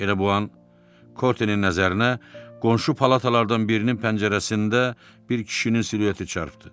Elə bu an Kortenin nəzərinə qonşu palatalardan birinin pəncərəsində bir kişinin silueti çatdı.